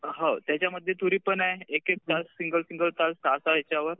हो त्याच्यामध्ये तुरी पण आहे एक एक सिंगल सिंगल ह्याच्यावर